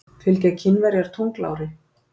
Fylgja Kínverjar tunglári?